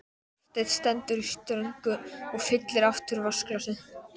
Hafsteinn stendur í ströngu og fyllir aftur vatnsglasið.